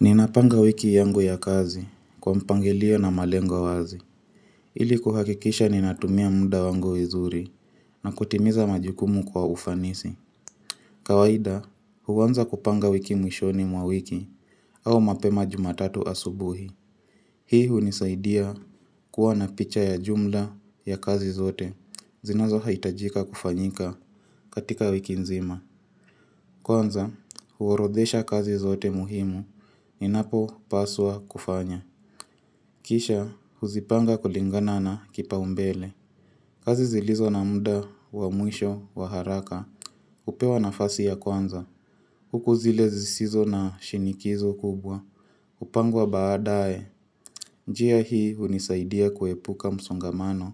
Ninapanga wiki yangu ya kazi kwa mpangilio na malengo wazi. Ili kuhakikisha ninatumia muda wangu vizuri na kutimiza majukumu kwa ufanisi. Kawaida huanza kupanga wiki mwishoni mwa wiki au mapema jumatatu asubuhi. Hii hunisaidia kuwa na picha ya jumla ya kazi zote zinazo hitajika kufanyika katika wiki nzima. Kwanza huorodhesha kazi zote muhimu ninapo paswa kufanya. Kisha huzipanga kulingana na kipaumbele kazi zilizo na muda wa mwisho wa haraka hupewa nafasi ya kwanza huku zile zisizo na shinikizo kubwa hupangwa badaye. Njia hii hunisaidia kuepuka msongamano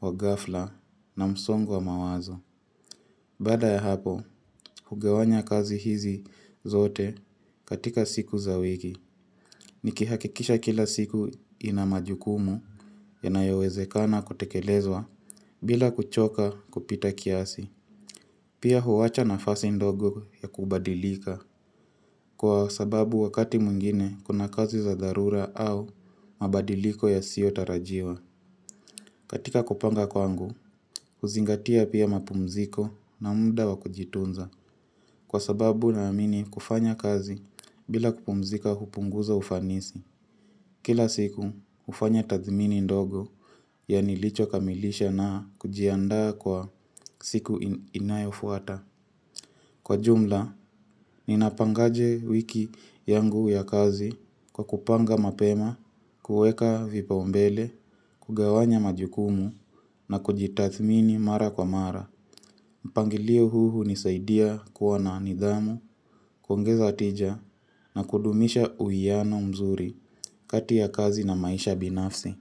wa ghafla na msongo wa mawazo. Baada ya hapo hugawanya kazi hizi zote katika siku za wiki. Nikihakikisha kila siku ina majukumu yanayowezekana kutekelezwa bila kuchoka kupita kiasi. Pia huwacha nafasi ndogo ya kubadilika. Kwa sababu wakati mwingine kuna kazi za dharura au mabadiliko yasio tarajiwa. Katika kupanga kwangu, huzingatia pia mapumziko na muda wa kujitunza. Kwa sababu naamini kufanya kazi bila kupumzika hupunguza ufanisi. Kila siku hufanya tathmini ndogo ya nilicho kamilisha na kujiandaa kwa siku inayofuata. Kwa jumla, ninapangaje wiki yangu ya kazi kwa kupanga mapema, kueka vipaumbele, kugawanya majukumu na kujitathmini mara kwa mara. Mpangilio huu hunisaidia kuwa na nidhamu, kuongeza tija na kudumisha uwiano mzuri kati ya kazi na maisha binafsi.